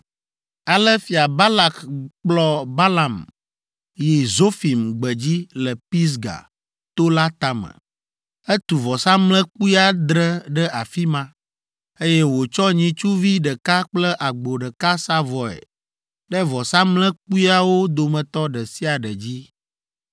Ale Fia Balak kplɔ Balaam yi Zofim gbedzi le Pisga to la tame. Etu vɔsamlekpui adre ɖe afi ma, eye wòtsɔ nyitsuvi ɖeka kple agbo ɖeka sa vɔe ɖe vɔsamlekpuiawo dometɔ ɖe sia ɖe dzi.